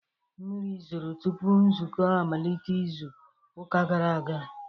Mmiri zoro tupu nzukọ amalite izu ụka gara aga